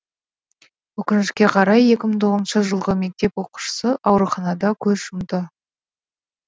өкінішке қарай екі мың тоғызыншы жылғы мектеп оқушысы ауруханада көз жұмды